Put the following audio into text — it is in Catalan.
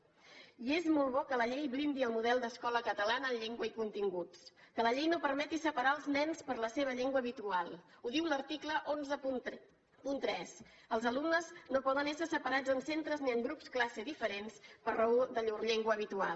i és molt bo que la llei blindi el model d’escola catalana en llengua i continguts que la llei no permeti separar els nens per la seva llengua habitual ho diu l’article cent i tretze els alumnes no poden ésser separats en centres ni en grups classe diferents per raó de llur llengua habitual